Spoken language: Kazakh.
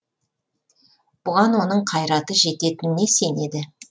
бұған оның қайраты жететініне сенеді